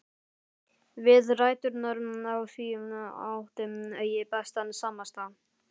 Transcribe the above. Við ræturnar á því átti ég bestan samastað.